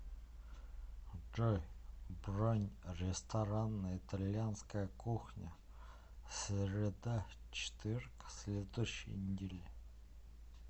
джой бронь ресторан итальянская кухня среда четверг следующей недели